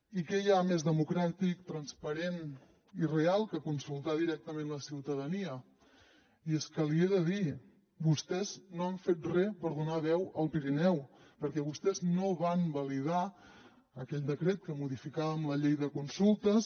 i què hi ha més democràtic transparent i real que consultar directament la ciutadania i és que l’hi he de dir vostès no han fet re per donar veu al pirineu perquè vostès no van validar aquell decret amb que modificàvem la llei de consultes